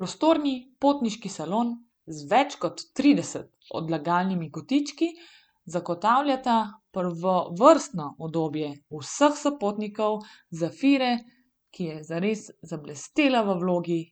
Prostorni potniški salon z več kot trideset odlagalnimi kotički zagotavljata prvovrstno udobje vseh sopotnikov Zafire, ki je zares zablestela v vlogi